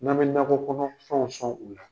N'an bɛ nakɔ kɔnɔfɛnw sɔn u la.